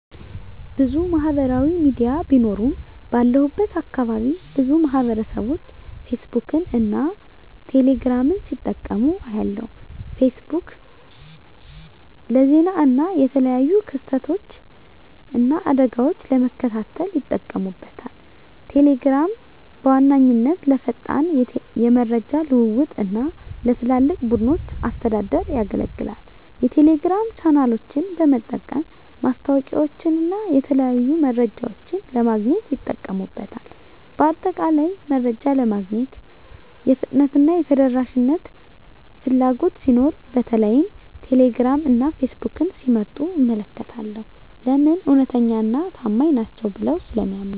**ብዙ ማህበራዊ ሚዲያ ቢኖሩም፦ ባለሁበት አካባቢ ብዙ ማህበረሰብቦች ፌስቡክን እና ቴሌ ግራምን ሲጠቀሙ አያለሁ፤ * ፌስቡክ: ፌስቡክ ለዜና እና የተለያዩ ክስተቶችን እና አደጋወችን ለመከታተል ይጠቀሙበታል። * ቴሌግራም: ቴሌግራም በዋነኛነት ለፈጣን የመረጃ ልውውጥ እና ለትላልቅ ቡድኖች አስተዳደር ያገለግላል። የቴሌግራም ቻናሎችን በመጠቀም ማስታወቂያወችንና የተለያዩ መረጃዎችን ለማግኘት ይጠቀሙበታል። በአጠቃላይ፣ መረጃ ለማግኘት የፍጥነትና የተደራሽነት ፍላጎት ሲኖር በተለይም ቴሌግራም እና ፌስቡክን ሲመርጡ እመለከታለሁ። *ለምን? እውነተኛና ታማኝ ናቸው ብለው ስለሚያምኑ።